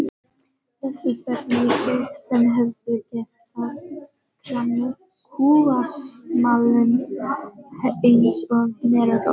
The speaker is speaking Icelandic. Þessi ferlíki sem hefðu getað kramið kúasmalann eins og merarost.